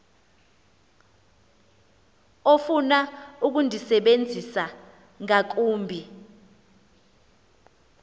ofuna ukundisebenzisa ngakumbi